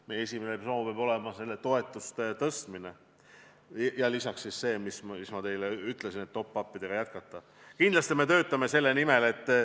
Meie esimene soov peab olema toetuste tõstmine ja lisaks siis see, mis ma teile just ütlesin, et top-up'i maksmist jätkata.